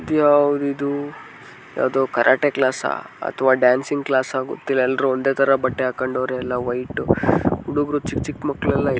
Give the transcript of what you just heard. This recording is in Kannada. ಇದು ಯಾವುದಿದು ಯಾವುದೇ ಕರಟೆ ಕ್ಲಾಸ್ ಅಥವಾ ಡಾನ್ಸಿಂಗ್ ಕ್ಲಾಸ್ ಗೊತ್ತಿಲ್ಲ ಎಲ್ರು ಒಂದೇ ತರಹ ಬಟ್ಟೆ ಹಾಕೊಂಡವರೆ ಎಲ್ಲಾ ವೈಟ್ . ಹುಡುಗ್ರು ಚಿಕ್ ಚಿಕ್ ಮಕ್ಕಳು --